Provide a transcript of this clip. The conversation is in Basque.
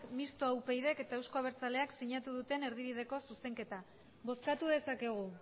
mistoa upydk eta euzko abertzaleak sinatu duten erdibideko zuzenketa bozkatu dezakegu